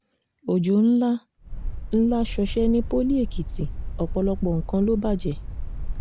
ọjọ́ ńlá ńlá ṣọṣẹ́ ní poli èkìtì ọ̀pọ̀lọpọ̀ nǹkan ló bàjẹ́